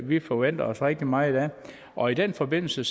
vi forventer os rigtig meget af og i den forbindelse